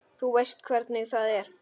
Þú veist hvernig það er.